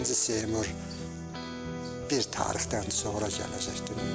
İkinci Seymur bir tarixdən sonra gələcəkdi.